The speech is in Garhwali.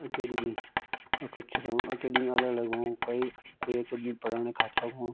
एकेडमी अ कुछ रो एकेडमी अलग अलग होण क्वई कुई एकेडमी पढाना खातिर रखणु।